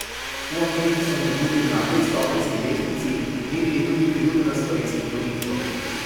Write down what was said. V anketi so med drugim na petstopenjski lestvici merili tudi priljubljenost slovenskih politikov.